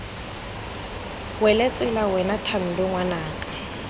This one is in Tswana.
wele tsela wena thando ngwanaka